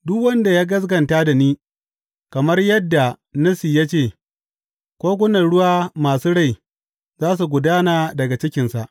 Duk wanda ya gaskata da ni, kamar yadda Nassi ya ce, kogunan ruwa masu rai za su gudana daga cikinsa.